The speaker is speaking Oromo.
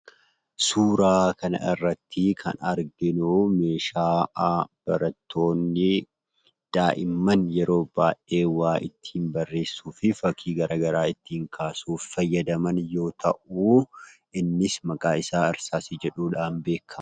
Suuraa kana irratti kan arginu, meeshaa barattoonni daa'imanna yeroo baay'ee waa ittin barreessuu fi fakkii garagaraa ittin kaasuuf fayyadaman yoo ta'u, innis maqaan isa hirsaasii jedhamuudhan beekama.